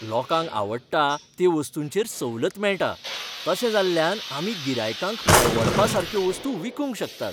लोकांक आवडटा ते वस्तूंचेर सवलत मेळटा, तशें जाल्ल्यान आमी गिरायकांक परवडपा सारक्यो वस्तू विकूंक शकतात.